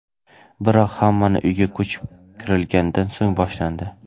Biroq... Hammasi uyga ko‘chib kirilgandan so‘ng boshlandi.